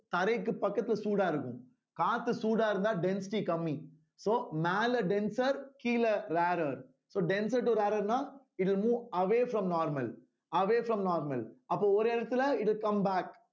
தரைக்கு பக்கத்துல சூடா இருக்கும் காத்து சூடா இருந்தா density கம்மி so மேல denser கீழே rarer so denser to rarer ன்னா it will move away from normal away from normal அப்ப ஒரு இடத்துல it will come back